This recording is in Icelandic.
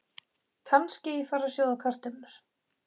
Kannski ég fari að sjóða kartöflur.